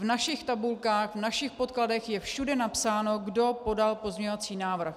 V našich tabulkách, v našich podkladech je všude napsáno, kdo podal pozměňovací návrh.